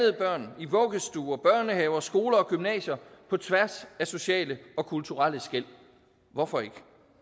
af børn i vuggestuer børnehaver skoler og gymnasier på tværs af sociale og kulturelle skel hvorfor ikke